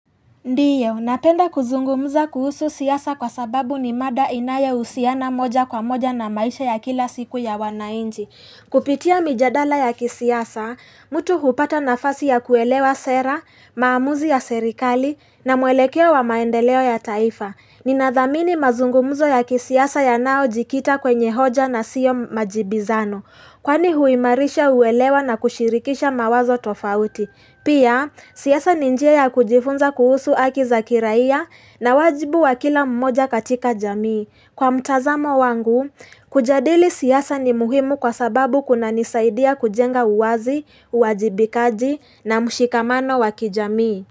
Ndiyo, napenda kuzungumza kuhusu siasa kwa sababu ni mada inayohusiana moja kwa moja na maisha ya kila siku ya wanainchi. Kupitia mijadala ya kisiasa, mtu hupata nafasi ya kuelewa sera, maamuzi ya serikali na mwelekeo wa maendeleo ya taifa. Ninathamini mazungumzo ya kisiasa yanayojikita kwenye hoja na siyo majibizano. Kwani huimarisha uwelewa na kushirikisha mawazo tofauti. Pia, siasa ni njia ya kujifunza kuhusu haki za kiraia na wajibu wa kila mmoja katika jamii. Kwa mtazamo wangu, kujadili siasa ni muhimu kwa sababu kunanisaidia kujenga uwazi, uwajibikaji na mshikamano wa kijamii.